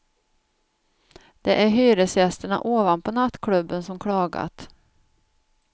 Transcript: Det är hyresgästerna ovanpå nattklubben som klagat.